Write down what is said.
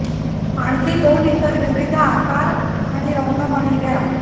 आणखी दोन इतर विविध आकार आणि रंग मणी घ्या